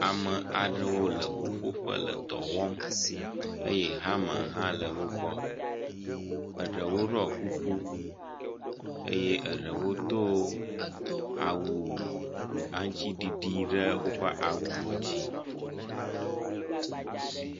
Ame aɖewo le ƒuƒoƒe le dɔ wɔm eye hama hã le wo gbɔ, eɖewo ɖɔ kuku eye eɖewo do awu aŋutiɖiɖi ɖe woƒe awuwo dzi.